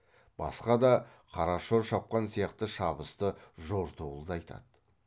басқа да қарашор шапқан сияқты шабысты жортуылды айтады